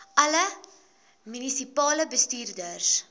alle munisipale bestuurders